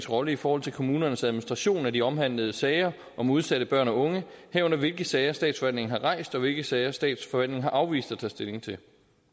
rolle i forhold til kommunernes administration af de omhandlede sager om udsatte børn og unge herunder hvilke sager statsforvaltningen har rejst og hvilke sager statsforvaltningen har afvist at tage stilling til